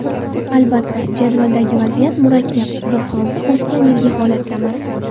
Albatta, jadvaldagi vaziyat murakkab, biz hozir o‘tgan yilgi holatdamiz.